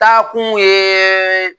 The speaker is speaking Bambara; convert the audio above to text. Ta kun ye